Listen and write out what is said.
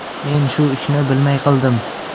Men shu ishni bilmay qildim.